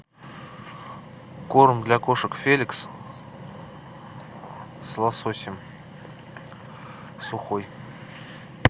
корм для кошек феликс с лососем сухой